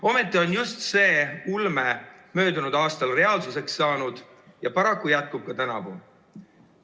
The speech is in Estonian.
Ometi sai just see ulme möödunud aastal reaalsuseks ja paraku jätkub see ka tänavu.